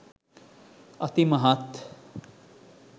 අති මහත්